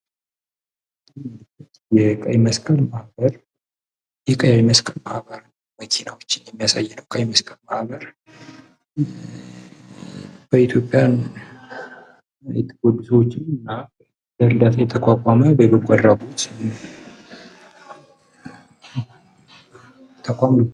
የቀይ መስቀል ማህበር ይህ የቀይ መስቀል ማህበር መኪናወችን የሚያሳይ የቀይ መስቀል ማህበር በኢትዮጵያ ጎጆወችን እና ለእርዳታ የተቋቋመ የበጎ አድራጎት ተቋም ነው።